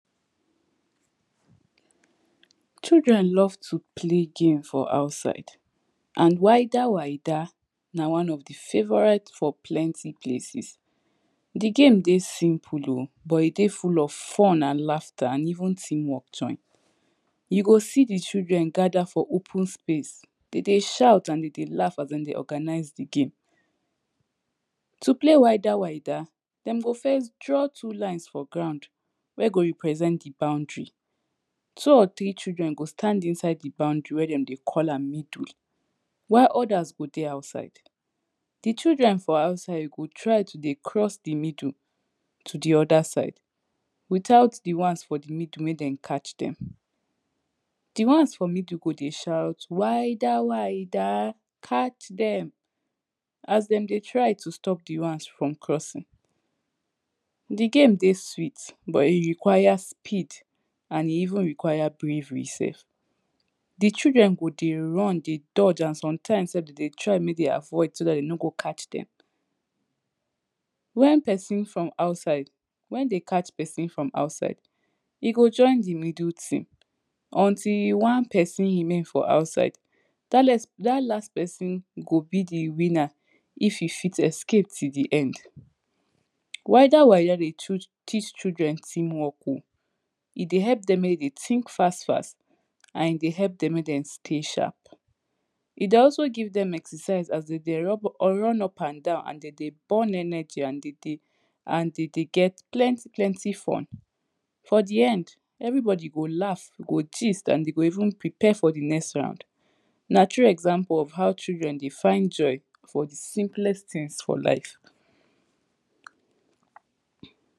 Children love to play game for outside and wider wider, na one of the favourite for playing plenty places Di game dey simple o, but e dey full of fun and laughter, and even team work join You go see di children gather for open space, dem dey shout and dem dey laugh as dem dey organize di game To play wider wider, dem go first draw two lines for ground wey go represent di boundary Tu or tiri children go stand inside di boundary wey dem dey call am middle while others go dey outside Di children for outside go try to dey cross di middle, to di other side, without the ones for di middle mek dem catch dem Di ones for middle go dey shout wider wider, catch dem As dem dey try to stop di ones from crossing di game dey sweet, but e require speed, and e even require bravery sef Di children go dey run dey dodge and sometimes sef den dey try mek dem avoid so dat dem no go catch dem When pesin from outside, when den catch pesin from outside e go join di middle team until one person remain for outside dat last person go be di winner if e fit escape till di end Wider wider dey teach children team work o E dey help dem mek dem think fast fast, and e dey help dem mek dem stay sharp E dey also give dem exercise as dem dey run up and down and den dey burn energy and den dey get den dey get plenty plenty fun For di end, every body go laugh go gist, and dem go even prepare for di next round Na true example of how children dey find joy for di simplest things for life